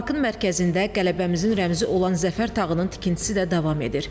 Parkın mərkəzində qələbəmizin rəmzi olan zəfər tağının tikintisi də davam edir.